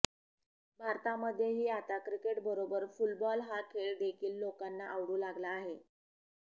भारतामध्येही आता क्रिकेटबरोबर फुलबॉल हा खेळ देखील लोकांना आवडू लागला आहे